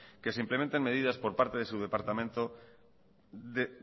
que se implementen medidas por parte de su departamento